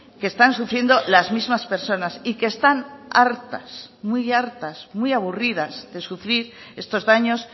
que están sufriendo las mismas personas y que están hartas muy hartas muy aburridas de sufrir estos daños